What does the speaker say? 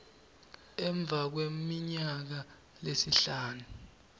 emva kweminyaka lesihlanu